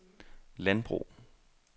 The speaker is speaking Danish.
landbrug